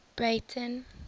breyten